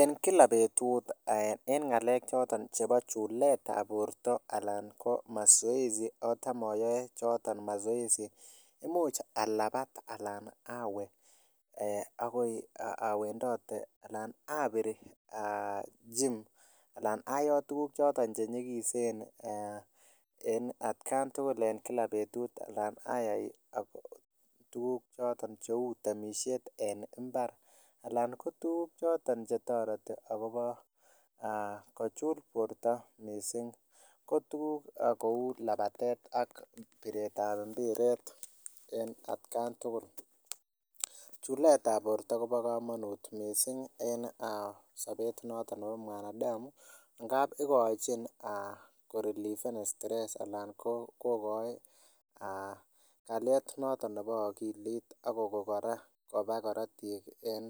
En Kila betut ih en ng'alek choton chebo chuletab borto ih , Alan ko mazoezi choton asi imuch alabat anan awe akoi awendite abir gym anan ayot tukuk choton chenyikisen en at kaan tugul en Kila betut anan ayai tuguk choton cheuu temisiet en imbar choton chetareti akobo kochul borta missing ko tukuk kouu labatet ak mpitet en atkan tugul. Chuletab borto kobo kamanut missing en sabet noton nebo mwanadamu ngab ikochin ko relieved stress anan kokoig kaliet nebo agilit akokon kora koba karatiik en